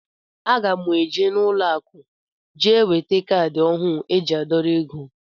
Aga mụ eje n' ụlọ akụ jee weta caadi ọhụụ eji adorọ égo.